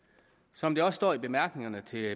som der også står i bemærkningerne til